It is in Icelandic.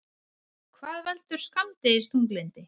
Hvað veldur skammdegisþunglyndi?